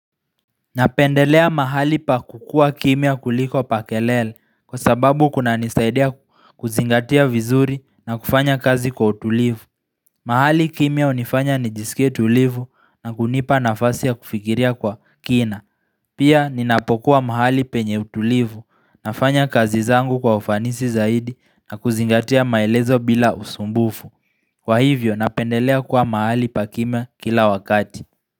Napendelea mahali pa kukua kimya kuliko pa kelele kwa sababu kuna nisaidia kuzingatia vizuri na kufanya kazi kwa utulivu mahali kimya unifanya nijisike tulivu na kunipa nafasi ya kufikiria kwa kina Pia ninapokuwa mahali penye utulivu nafanya kazi zangu kwa ufanisi zaidi na kuzingatia maelezo bila usumbufu Kwa hivyo napendelea kwa mahali pa kimya kila wakati.